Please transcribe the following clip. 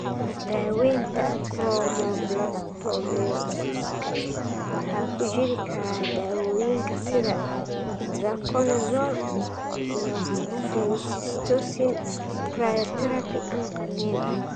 Daaweynta chromoblastomycosiska waxaa ku jiri kara daawooyinka sida itraconazole iyo flucytosine, cryotherapy, ama qalliin.